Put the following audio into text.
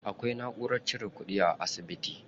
Akwai naʼurar cire kuɗi a asibiti.